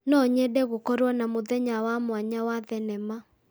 No nyende gũkorwo na mũthenya wa mwanya wa thenama.